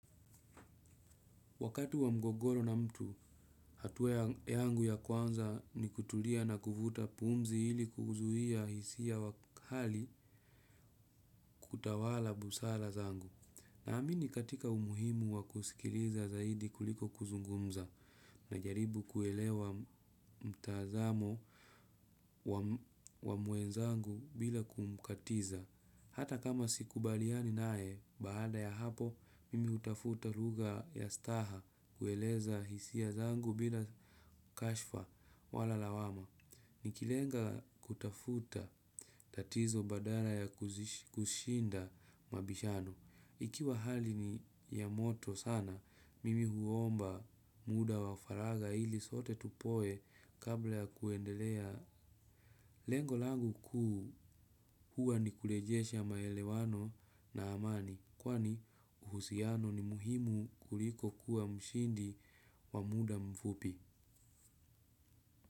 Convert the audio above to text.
Wakati wa mgogoro na mtu, hatua yangu ya kwanza ni kutulia na kuvuta pumzi ili kuuzuia hisia wa kali kutawala busara zangu. Naamini katika umuhimu wa kusikiliza zaidi kuliko kuzungumza najaribu kuelewa mtazamo wa mwenzangu bila kumkatiza. Hata kama sikubaliani naye, baada ya hapo, mimi hutafuta lugha ya staha kueleza hisia zangu bila kashfa wala lawama. Nikilenga kutafuta, tatizo badala ya kushinda mabishano. Ikiwa hali ni ya moto sana, mimi huomba muda wa faraga ili sote tupoe kabla ya kuendelea. Lengo langu kuu huwa ni kurejesha maelewano na amani kwani uhusiano ni muhimu kuliko kuwa mshindi wa muda mfupi.